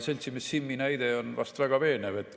Seltsimees Simmi näide on väga veenev.